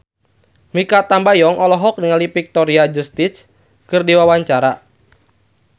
Mikha Tambayong olohok ningali Victoria Justice keur diwawancara